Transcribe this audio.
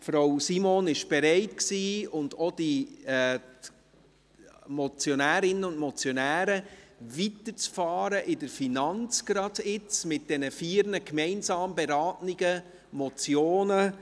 Frau Simon bereit, und auch die Motionärinnen und Motionäre, sind bereit, gerade jetzt weiterzufahren mit den Geschäften der FIN, mit diesen vier gemeinsam zu beratenden Motionen.